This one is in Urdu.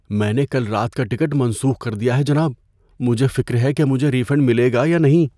میں نے کل رات کا ٹکٹ منسوخ کر دیا ہے جناب۔ مجھے فکر ہے کہ مجھے ری فنڈ ملے گا یا نہیں۔